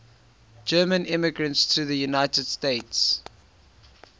german immigrants to the united states